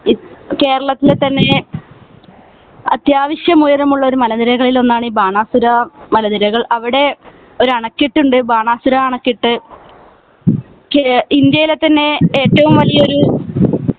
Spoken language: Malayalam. കേരളത്തിലെ തന്നെ അത്യാവശ്യം ഉയരമുള്ള മലനിരകളിൽ ഒന്നാണ് ഈ ബാനാസുര മലനിരകൾ അവിടെ ഒരു അണക്കെട്ട് ഉണ്ട് ബാനാസുര അണക്കെട്ട് ഇന്ത്യയിലെ തന്നെ ഏറ്റവും വലിയൊരു